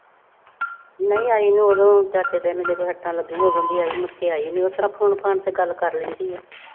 ਨਈਂ ਆਈ ਨਈਂ। ਉਦੋਂ ਚਾਚੇ ਤੇਰੇ ਦੇ ਸੱਟਾਂ ਲੱਗੀਆਂ ਹੀ ਉਦੋਂ ਦੀ ਆਈ। ਮੁੜ ਕੇ ਆਈ ਨਈਂ, ਉਸ ਤਰ੍ਹਾਂ phone ਫਾਨ ਤੇ ਗੱਲ ਕਰ ਲੈਂਦੀ ਏ।